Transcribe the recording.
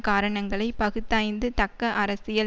காரணங்களை பகுத்தாய்ந்து தக்க அரசியல்